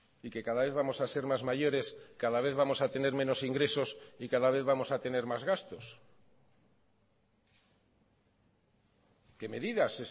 y que cada vez vamos a ser más mayores cada vez vamos a tener menos ingresos y cada vez vamos a tener más gastos qué medidas